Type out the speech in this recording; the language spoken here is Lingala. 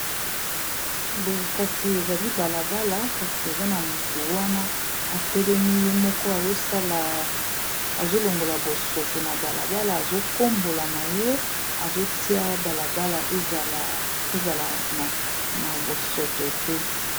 Boye kasi ezali balabala kasi eza na moto wana atelemi ye moko azolongola bosoto na balabala azokombola na ye azotia balabala ezala na bosoto te.